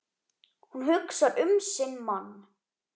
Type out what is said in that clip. Hún hugsar um sinn mann.